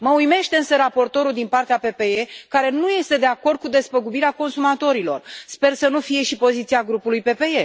Mă uimește, însă, raportorul din partea PPE, care nu este de acord cu despăgubirea consumatorilor. Sper să nu fie și poziția grupului PPE.